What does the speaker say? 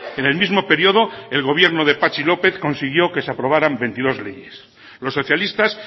en el mismo periodo el gobierno de patxi lópez consiguió que se aprobaran veintidós leyes los socialistas